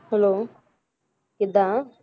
Hello ਕਿੱਦਾਂ?